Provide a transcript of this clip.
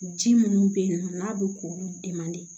Ji munnu be yen nɔ n'a be k'olu de man de